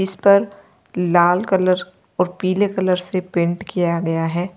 इस पर लाल कलर और पीले कलर से पेंट किया गया है।